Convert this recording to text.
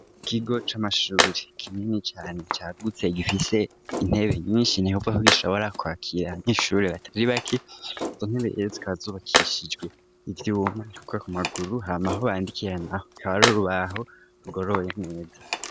Ikigo c'amashuri kinini cane cagutse gifise intebe nyinshi, nukuvuga ko gishobora kwakira abanyeshuri batari bake, izo ntebe rero zikaba zubakishijwe ivyuma ukuye ku maguru ,hamaho bandikira naho kaba hari urubaho rugoroye neza.